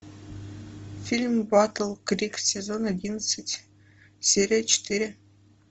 фильм батл крик сезон одиннадцать серия четыре